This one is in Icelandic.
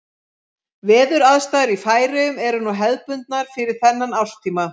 Veðuraðstæður í Færeyjum eru núna hefðbundnar fyrir þennan árstíma.